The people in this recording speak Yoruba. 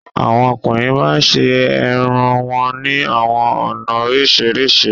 Awọn ọkùnrin màá ń ṣẹ ẹ̀rùn wọn ni awọn ọna oríṣiríṣi.